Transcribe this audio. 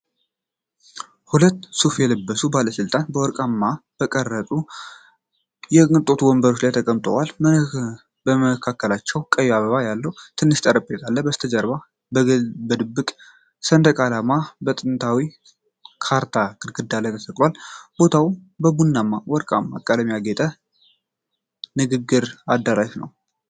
ሁለት ሱፍ የለበሱ ባለስልጣናት በወርቃማ በተቀረጹ የቅንጦት ወንበሮች ላይ ተቀምጠዋል። በመካከላቸው ቀይ አበባዎች ያለበት ትንሽ ጠረጴዛ አለ። ከበስተጀርባው የግብፅ ሰንደቅ ዓላማና የጥንታዊ ካርታ ግድግዳ ላይ ተሰቅለዋል። ቦታው በቡናማና ወርቃማ ቀለሞች ያጌጠ የንግግር አዳራሽ ነው።